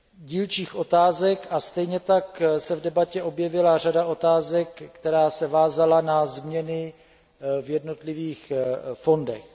dílčích otázek a stejně tak se v debatě objevila řada otázek, která se vázala na změny v jednotlivých fondech.